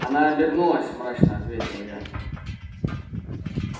она обернулась мрачно ответил я